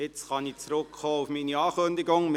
Nun kann ich auf meine Ankündigung zurückkommen.